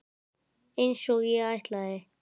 Einsog ég ætlaði.